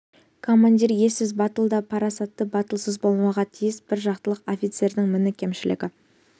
командир ессіз батыл да парасатты батылсыз болмауға тиіс бір жақтылық офицердің міні кемшілігі